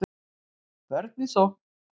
Vörn í sókn